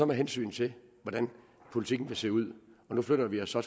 med hensyn til hvordan politikken vil se ud flytter vi os så